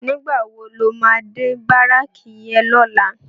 Nigbá wó ló má dé báráki yèn lòlá?